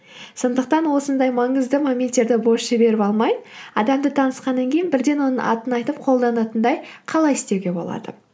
сондықтан осындай маңызды моменттерді бос жіберіп алмай адамды танысқаннан кейін бірден оның атын айтып қолданатындай қалай істеуге болады